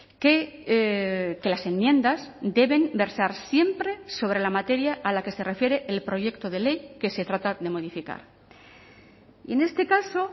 que las enmiendas deben versar siempre sobre la materia a la que se refiere el proyecto de ley que se trata de modificar y en este caso